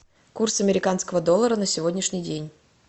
курс американского доллара на сегодняшний день